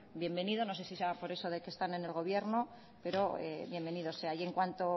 bienvenido no sé si será por eso de que están en el gobierno pero bienvenido sea y en cuanto